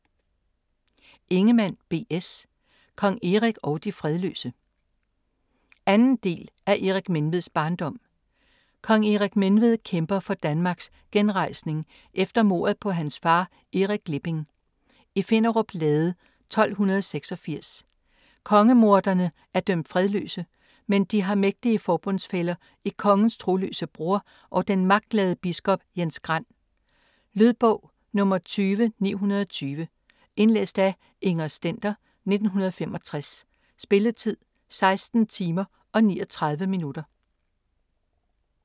Ingemann, B. S.: Kong Erik og de fredløse 2. del af Erik Menveds barndom. Kong Erik Menved kæmper for Danmarks genrejsning efter mordet på hans far, Erik Glipping, i Finnerup Lade 1286. Kongemorderne er dømt fredsløse, men de har mægtige forbundsfæller i kongens troløse bror og den magtglade biskop Jens Grand. Lydbog 20920 Indlæst af Inger Stender, 1965. Spilletid: 16 timer, 39 minutter.